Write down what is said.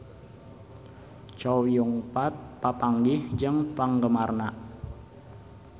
Chow Yun Fat papanggih jeung penggemarna